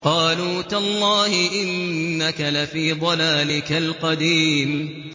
قَالُوا تَاللَّهِ إِنَّكَ لَفِي ضَلَالِكَ الْقَدِيمِ